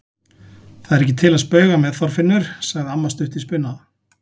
Það er ekki til að spauga með, Þorfinnur! sagði amma stutt í spuna.